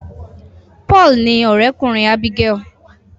Paul ní òré kùnrin Abigael.